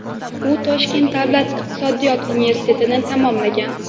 U Toshkent davlat iqtisodiyot universitetini tamomlagan.